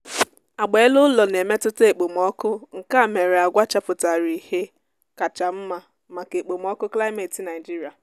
agba ele-ụlọ na-emetụta ekpomọọkụ nkea mere agwa chapụtara ihe kacha nma maka ekpomọọkụ klimeti nigeria